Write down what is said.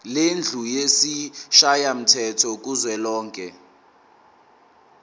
lendlu yesishayamthetho kuzwelonke